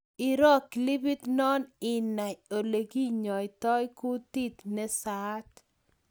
Iroo clipit no inai olekinyaitai kutit nesaat